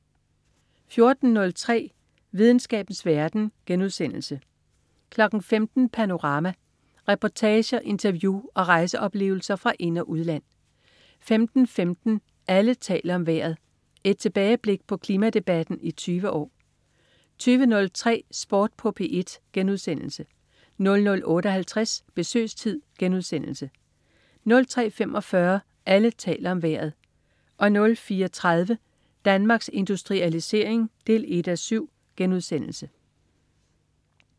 14.03 Videnskabens verden* 15.00 Panorama. Reportager, interview og rejseoplevelser fra ind- og udland 15.15 Alle taler om vejret. Et tilbageblik på klimadebatten i 20 år 20.03 Sport på P1* 00.58 Besøgstid* 03.45 Alle taler om Vejret 04.30 Danmarks Industrialisering 1:7*